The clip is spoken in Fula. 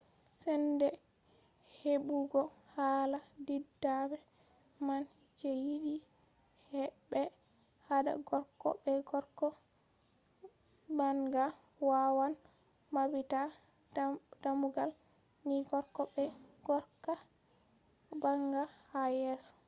sende hebugo hala didabre man je yidi be hada gorko be gorko banga wawan mabbita dammugal ni gorko be gorko banga ha yeso